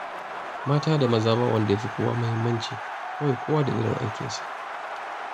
Mata da maza ba wanda ya fi wani muhimmanci, kawai kowa da irin aikinsa